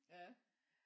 Ja